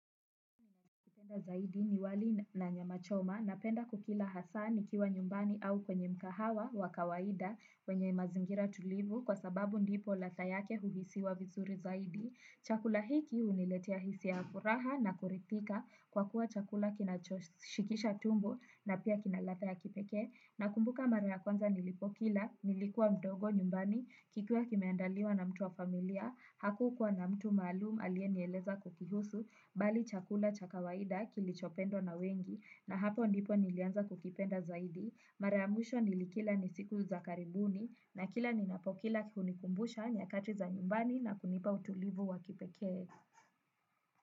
Napenda zaidi ni wali na nyama choma napenda kukila hasa ni kiwa nyumbani au kwenye mkahawa wa kawaida wenye mazingira tulivu kwa sababu ndipo latha yake uhisiwa visuri zaidi. Chakula hiki uniletia hisia ya furaha na kurithika kwa kuwa chakula kina shikisha tumbo na pia kinalatha ya kipekee. Nakumbuka mara kwanza nilipokila, nilikuwa mdogo nyumbani, kikiwa kimeandaliwa na mtu wa familia, hakukuwa na mtu maalumu aliye aliyeniezela kukihusu, bali chakula chakawaida kilichopendwa na wengi na hapo ndipo nilianza kukipenda zaidi. Mara ya mwisho nilikila ni siku za karibuni na kila ninapokila hunikumbusha nyakati za nyumbani na kunipa utulivu wakipekee.